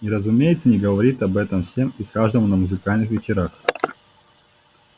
и разумеется не говорит об этом всем и каждому на музыкальных вечерах